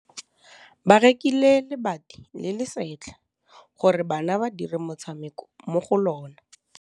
Ba rekile lebati le le setlha gore bana ba dire motshameko mo go lona.